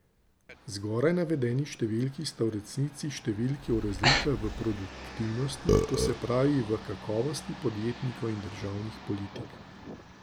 Zgoraj navedeni številki sta v resnici številki o razlikah v produktivnosti, to se pravi v kakovosti podjetnikov in državnih politik.